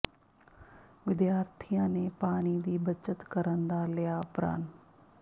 ਵਿਦਿਆਰਥੀਆਂ ਨੇ ਪਾਣੀ ਦੀ ਬੱਚਤ ਕਰਨ ਦਾ ਲਿਆ ਪ੍ਰਣ